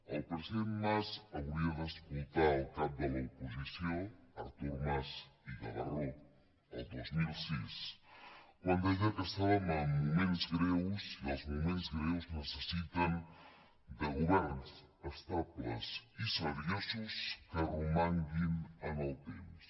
el president mas hauria d’escoltar el cap de l’oposició artur mas i gavarró el dos mil sis quan deia que estàvem en moments greus i els moments greus necessiten governs estables i seriosos que romanguin en el temps